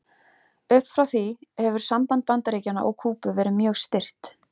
Upp frá því hefur samband Bandaríkjanna og Kúbu verið mjög stirt.